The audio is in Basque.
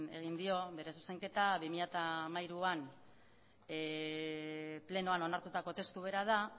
egin dio bere zuzenketa bi mila hamairuan plenoan onartutako testu bera da